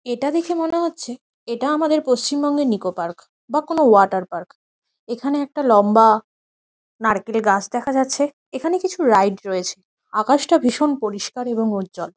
এটা দেখে মনে হচ্ছে এটা আমাদের পশ্চিমবঙ্গের নিকো পার্ক বা কোনো ওয়াটার পার্ক । এখানে একটা লম্বা নারকেল গাছ দেখা যাচ্ছে। এখানে কিছু রাইড রয়েছে। আকাশটা ভীষণ পরিষ্কার এবং উজ্জ্বল।